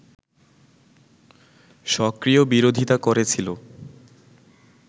সক্রিয় বিরোধিতা করেছিল